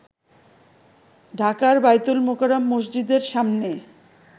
ঢাকার বায়তুল মোকাররম মসজিদের সামনে